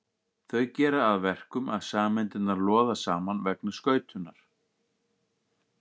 Þau gera það að verkum að sameindirnar loða saman vegna skautunar.